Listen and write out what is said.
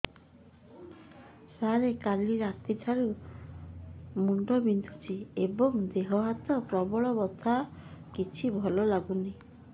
ସାର କାଲି ରାତିଠୁ ମୁଣ୍ଡ ବିନ୍ଧୁଛି ଏବଂ ଦେହ ହାତ ପ୍ରବଳ ବଥା କିଛି ଭଲ ଲାଗୁନି